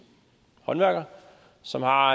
håndværker som har